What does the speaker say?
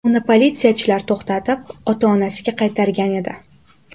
Uni politsiyachilar to‘xtatib, ota-onasiga qaytargan edi.